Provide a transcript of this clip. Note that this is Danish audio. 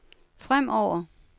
fremover